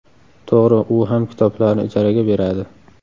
To‘g‘ri, u ham kitoblarni ijaraga beradi.